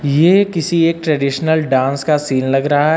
ये किसी एक ट्रेडिशनल डांस का सीन लग रहा है।